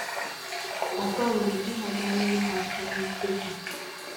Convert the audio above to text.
Ùtò mgbe di ha bìà nyere ha aka n’úsekwù